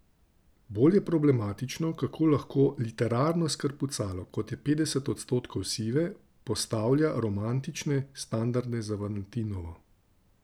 Bolj je problematično, kako lahko literarno skrpucalo, kot je Petdeset odstotkov sive, postavlja romantične standarde za valentinovo.